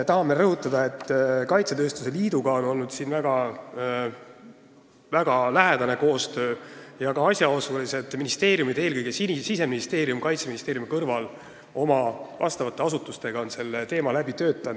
Tahame rõhutada, et väga lähedane koostöö on olnud kaitsetööstuse liiduga ja ka asjaosalised ministeeriumid, eelkõige Siseministeerium Kaitseministeeriumi kõrval oma vastavate asutustega, on selle teema läbi töötanud.